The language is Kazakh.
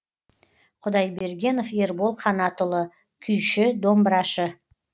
құдайбергенов ербол қанатұлы күйші домбырашы